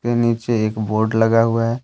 नीचे एक बोर्ड लगा हुआ है।